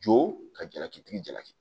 Jo ka jalakitigi jalaki